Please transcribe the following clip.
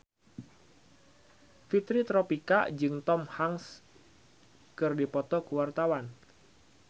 Fitri Tropika jeung Tom Hanks keur dipoto ku wartawan